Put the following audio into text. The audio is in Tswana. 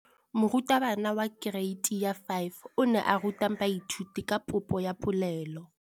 Moratabana wa kereiti ya 5 o ne a ruta baithuti ka popô ya polelô.